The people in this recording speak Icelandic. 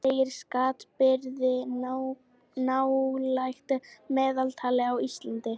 Segir skattbyrði nálægt meðaltali á Íslandi